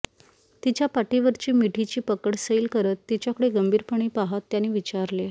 तिच्या पाठीवरची मिठीची पकड सैल करत तिच्याकडे गंभीरपणे पाहात त्याने विचारले